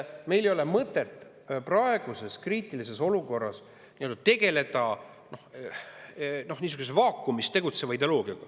Meil ei ole mõtet praeguses kriitilises olukorras tegeleda niisuguse vaakumis tegutseva ideoloogiaga.